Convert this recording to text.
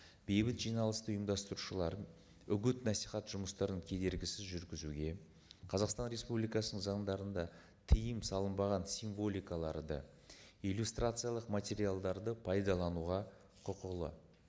бейбіт жиналысты ұйымдастырушылар үгіт насихат жұмыстарын кедергісіз жүргізуге қазақстан республикасының заңдарында тыйым салынбаған символикаларды иллюстрациялық материалдарды пайдалануға құқылы